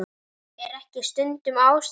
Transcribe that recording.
Er ekki stundum ástæða til?